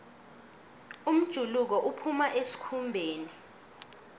umjuluko uphuma esikhumbeni